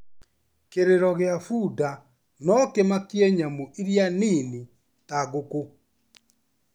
Kĩrĩro gĩa bunda no kĩmakie nyamũ iria nini ta ngũkũ.